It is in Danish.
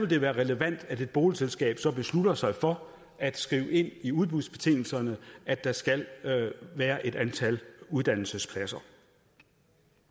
det være relevant at et boligselskab så beslutter sig for at skrive ind i udbudsbetingelserne at der skal være et antal uddannelsespladser